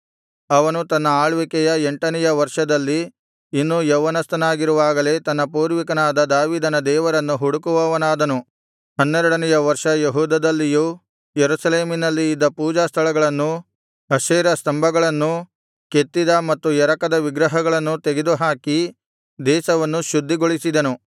ಅವನು ತನ್ನ ಆಳ್ವಿಕೆಯ ಎಂಟನೆಯ ವರ್ಷದಲ್ಲಿ ಇನ್ನೂ ಯೌವನಸ್ಥನಾಗಿರುವಾಗಲೇ ತನ್ನ ಪೂರ್ವಿಕನಾದ ದಾವೀದನ ದೇವರನ್ನು ಹುಡುಕುವವನಾದನು ಹನ್ನೆರಡನೆಯ ವರ್ಷ ಯೆಹೂದದಲ್ಲಿಯೂ ಯೆರೂಸಲೇಮಿನಲ್ಲಿ ಇದ್ದ ಪೂಜಾಸ್ಥಳಗಳನ್ನೂ ಅಶೇರ ಸ್ತಂಭಗಳನ್ನೂ ಕೆತ್ತಿದ ಮತ್ತು ಎರಕದ ವಿಗ್ರಹಗಳನ್ನೂ ತೆಗೆದುಹಾಕಿ ದೇಶವನ್ನು ಶುದ್ಧಿಗೊಳಿಸಿದನು